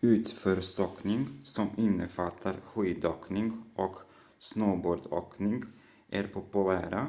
utförsåkning som innefattar skidåkning och snowboardåkning är populära